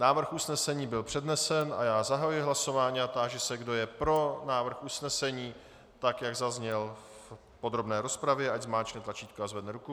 Návrh usnesení byl přednesen a já zahajuji hlasování a táži se, kdo je pro návrh usnesení, tak jak zazněl v podrobné rozpravě, ať zmáčkne tlačítko a zvedne ruku.